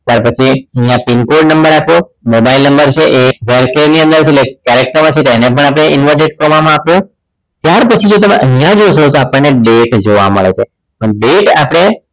ત્યાર પછી અહીંયા પીનકોડ નંબર આપ્યો mobile number છે એ variable char ની અંદર એટલે કે character માં છે એટલે એને પણ આપણે inverted comma માં આપ્યો ત્યાર પછી તમે અહીંયા જુઓ છો આપણને અહીંયા date જોવા મળે છે date આપણે